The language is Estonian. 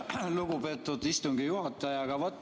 Aitäh, lugupeetud istungi juhataja!